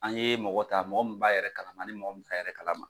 An ye mɔgɔ ta mɔgɔ min b'a yɛrɛ kalama ani mɔgɔ min t'a yɛrɛ kalama.